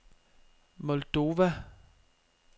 Moldova